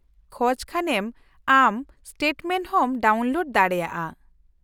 - ᱠᱷᱚᱡ ᱠᱷᱟᱱᱮᱢ ᱟᱢ ᱥᱴᱮᱴᱢᱮᱱᱴ ᱦᱚᱢ ᱰᱟᱣᱩᱱᱞᱳᱰ ᱫᱟᱲᱮᱭᱟᱜᱼᱟ ᱾